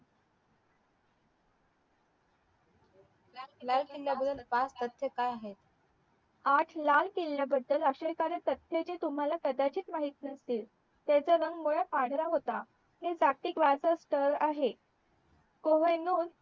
लाल किल्या बदल पाच सत्य काय आहे